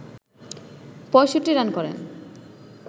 ৬৫ run করেন